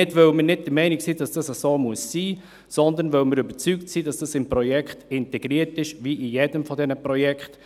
Dies nicht, weil wir nicht der Meinung sind, dass dies so sein muss, sondern weil wir überzeugt sind, dass dies im Projekt integriert ist, wie bei jedem dieser Projekte.